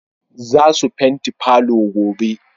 Zasu fenti palour gobe